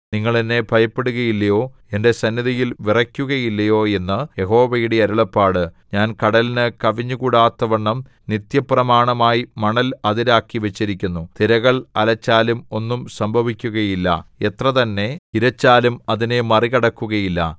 നിങ്ങൾ എന്നെ ഭയപ്പെടുകയില്ലയോ എന്റെ സന്നിധിയിൽ വിറയ്ക്കുകയില്ലയോ എന്ന് യഹോവയുടെ അരുളപ്പാട് ഞാൻ കടലിന് കവിഞ്ഞുകൂടാത്തവണ്ണം നിത്യപ്രമാണമായി മണൽ അതിരാക്കി വച്ചിരിക്കുന്നു തിരകൾ അലച്ചാലും ഒന്നും സംഭവിക്കുകയില്ല എത്രതന്നെ ഇരച്ചാലും അതിനെ മറികടക്കുകയില്ല